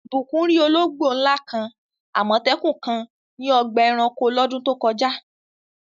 Ìbùkún rí ológbò ńlá kan, Àmọ̀tẹ́kùn kan ní ọgbà ẹranko lọ́dún tó kọjá.